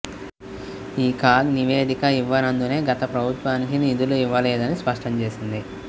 ఈ కాగ్ నివేదిక ఇవ్వనందునే గత ప్రభుత్వానికి నిధులు ఇవ్వలేదని స్పష్టం చేసింది